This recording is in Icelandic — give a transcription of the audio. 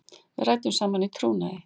Við ræddum saman í trúnaði.